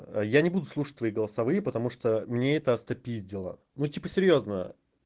я не буду слушать твои голосовые потому что мне это остопиздело ну типа серьёзно